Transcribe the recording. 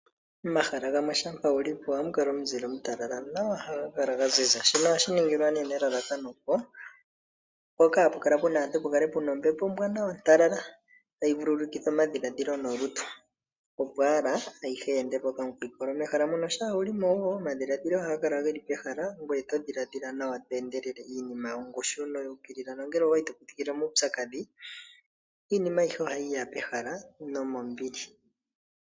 Pomahala gamwe shampa wuli po ohapu kala pwa ziza nawa pu na omuzile omutalala nawa, shino ohashi ningwa nelalakano, opo mpoka hapu kala pu na aantu pukale puna ombepo ontalala tayi vululukitha oma dhiladhilo nolutu, opo ala ayihe yi ende po okamukwinkololo. Mehala muno shampa wuli mo omadhiladhilo ohaga kala geli pehala ngoye todhiladhila nawa to endelele iinima yongushu noyuukiilila nongele owali todhiladhila muupyakadhi iinima ayihe ohayi ya pehala nomombili.